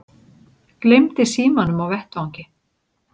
Gleymdi símanum á vettvangi